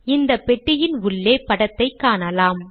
இந்த பெட்டியின் உள்ளே படத்தைக் காணலாம்